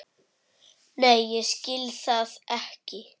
Nei ég skil það ekki.